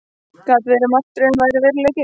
Gat verið að martröðin væri veruleiki?